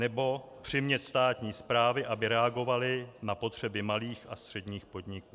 Nebo - přimět státní správy, aby reagovaly na potřeby malých a středních podniků.